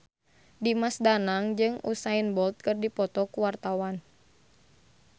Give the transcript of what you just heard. Dimas Danang jeung Usain Bolt keur dipoto ku wartawan